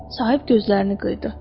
Sahib gözlərini qıyırdı.